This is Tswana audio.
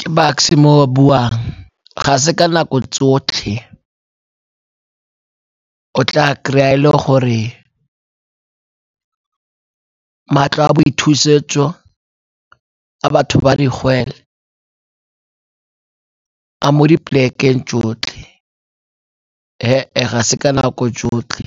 Ke Bucks-e mo o a buang, ga se ka nako tsotlhe o tla kry-a e le gore matlo a boithusetso a batho ba digwele a mo dipolekeng tsotlhe, e e ga se ka nako tsotlhe.